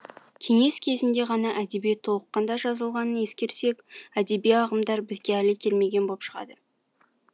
кеңес кезінде ғана әдебиет толыққанда жазылғанын ескерсек әдеби ағымдар бізге әлі келмеген боп шығады